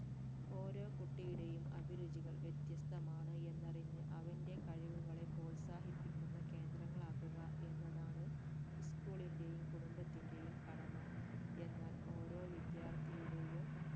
ഓരോ കുട്ടിയുടെയും അഭിരുചികൾ വ്യത്യസ്തമാണ് എന്ന് അറിഞ് അവന്റെ കഴിവുകളെ പ്രോത്സാഹിപ്പിക്കുന്ന കേന്ദ്രങ്ങളാക്കുക എന്നതാണ് school ന്റെയും കുടുംബത്തിന്റെയും കടമ എന്നാൽ ഓരോ വിദ്യാർത്ഥിയുടെയും